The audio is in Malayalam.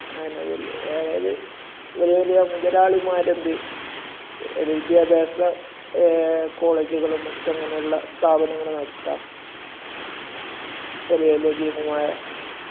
അതിന്റെ പേരില്..അതായത്...ഇവര് വലിയ മുതലാളിമാരെന്ത്‌ വിദ്യാഭ്യാസ കോളേജുകളും മറ്റ് അങ്ങനയുള്ള സ്ഥാപനങ്ങളും നടത്താം. വലിയ വലിയ ഭീമമായ സംഖ്യകള് വച്ചിട്ട്...